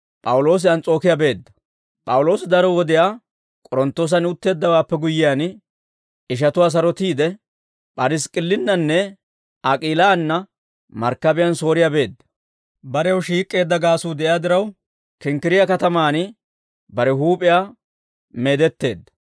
P'awuloosi daro wodiyaa K'oronttoosan utteeddawaappe guyyiyaan, ishatuwaa sarotiide, P'irisk'k'illinnanne Ak'iilaanna markkabiyaan Sooriyaa beedda; barew shiik'k'eedda gaasuu de'iyaa diraw, Kinkkiriyaa katamaan bare huup'iyaa meedetteedda.